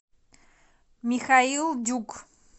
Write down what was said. михаил дюк